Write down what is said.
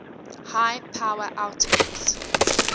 high power outputs